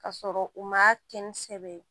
Ka sɔrɔ u ma kɛ ni sɛbɛ ye